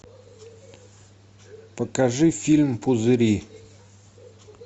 покажи фильм пузыри